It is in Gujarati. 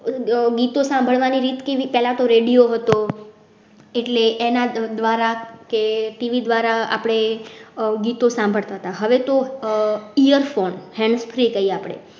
ગીતો સાંભળ વાણી રીત કેવી પેલા તો radio હતો એટલે એના દ્વારા કે TV દ્વારા આપડે ગીતો સાંભળતા હતા. હવે તો ear phone hands free કહીયે આપડે